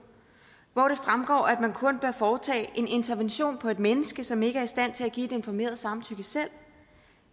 hvor det fremgår at man kun bør foretage en intervention på et menneske som ikke er i stand til at give et informeret samtykke selv